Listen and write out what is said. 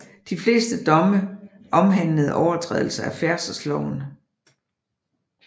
De fleste domme omhandlede overtrædelser af færdselsloven